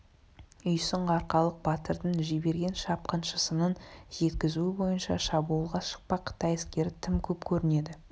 үйсін арқалық батырдың жіберген шапқыншысының жеткізуі бойынша шабуылға шықпақ қытай әскері тым көп көрінеді